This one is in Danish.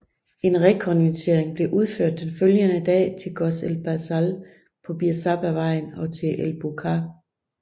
En rekognoscering blev udført den følgende dag til Goz el Basal på Bir Saba vejen og til El Buqqar